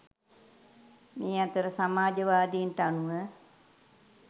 මේ අතර සමාජවාදීන්ට අනුව